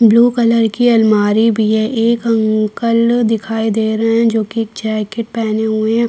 Blue colour की अलमारी भी है एक अंकल दिखाई दे रहे हैं जो की एक जैकेट पहने हुए हैं।